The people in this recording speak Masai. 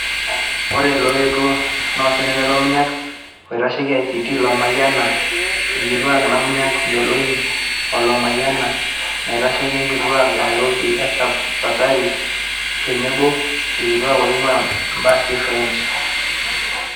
Ore loetuo na osenetai Lomunyak, oloitasheki ICT Lomayiana, ilkituaak Namunyak Melonyi o Lomayiana, enaitasheiki inkituaak e Nairobi Esther Pasaris tenebo ilkituaak oinguaa ebasi e french.